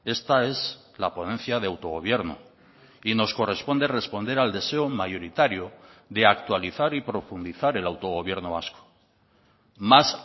esta es la ponencia de autogobierno y nos corresponde responder al deseo mayoritario de actualizar y profundizar el autogobierno vasco más